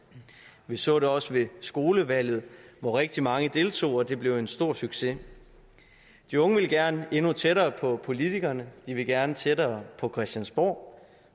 vi så det også ved skolevalget hvor rigtig mange deltog og det blev en stor succes de unge vil gerne endnu tættere på politikerne de vil gerne tættere på christiansborg